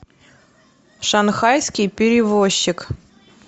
шанхайский перевозчик